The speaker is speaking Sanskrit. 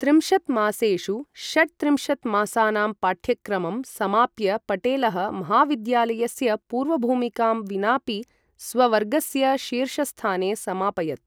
त्रिंशत् मासेषु षट्त्रिंशत् मासानां पाठ्यक्रमं समाप्य पटेलः, महाविद्यालयस्य पूर्वभूमिकां विनापि स्ववर्गस्य शीर्षस्थाने समापयत्।